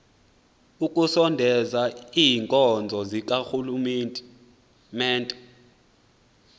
ekusondezeni iinkonzo zikarhulumente